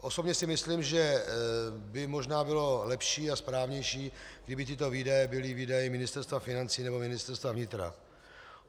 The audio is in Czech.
Osobně si myslím, že by možná bylo lepší a správnější, kdyby tyto výdaje byly výdaji Ministerstva financí nebo Ministerstva vnitra.